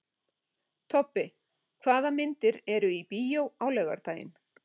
Tobbi, hvaða myndir eru í bíó á laugardaginn?